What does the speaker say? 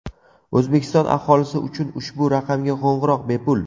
O‘zbekiston aholisi uchun ushbu raqamga qo‘ng‘iroq bepul.